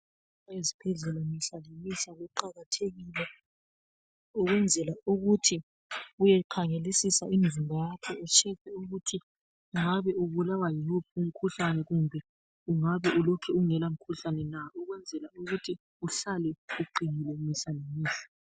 Ezibhedlela mihla lemihla kuqakathekile ukwenzela ukuthi uyekhangelisisa umzimba wakho utshekhe ukuthi ungabe ubulawa yiwuphi umkhuhlane kumbe ukuthi ungabe ulokhe ungelamkhuhlane na ukwenzela ukuthi uhlale uqinile mihla ngemihla.